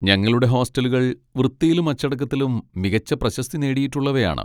ഞങ്ങളുടെ ഹോസ്റ്റലുകൾ വൃത്തിയിലും അച്ചടക്കത്തിലും മികച്ച പ്രശസ്തി നേടിയിട്ടുള്ളവയാണ്.